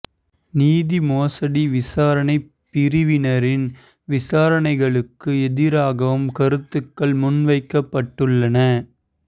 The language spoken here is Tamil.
நிதி மோசடி விசாரணை பிரிவினரின் விசாரணைகளுக்கு எதிராகவும் கருத்துகள் முன்வைக்கப்பட்டுள்ளன